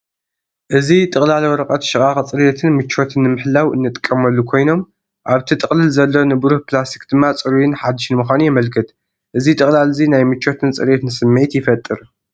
እዚ ጥቕላል ወረቐት ሽቓቕ ጽሬትን ምቾትን ንምሕላው እንጥቀሙሉ ኮይኖም፣ ኣብቲ ጥቕላል ዘሎ ንብሩህ ፕላስቲክ ድማ ጽሩይን ሓድሽን ምዃኑ የመልክት። እዚ ጥቕላል እዚ ናይ ምቾትን ጽሬትን ስምዒት ይፈጥር።